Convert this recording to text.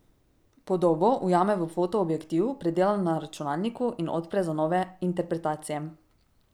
Podobo ujame v foto objektiv, predela na računalniku in odpre za nove interpretacije.